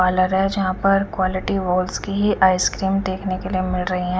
Parlour है जहा पर कुअलीटी वोल्स की ही आइस क्रीम देखने के लिए मिल रही है।